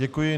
Děkuji.